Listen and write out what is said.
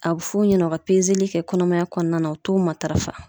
A bɛ f'u ɲɛna u ka kɛ kɔnɔmaya kɔnɔna na u t'u matarafa.